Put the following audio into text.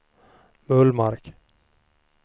Bullmark